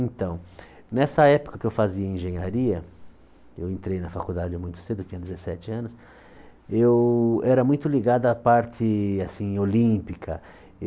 Então, nessa época que eu fazia engenharia, eu entrei na faculdade muito cedo, tinha dezessete anos, eu era muito ligado à parte assim olímpica.